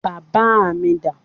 Bàbá mi dà?